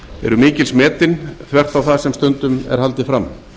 eru mikils metin þvert á það sem stundum er haldið fram